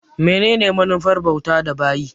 Menene manufar bautar da bayi?